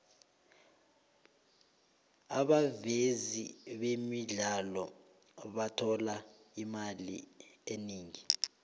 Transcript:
abavezi bemidlalo bathola imali eningi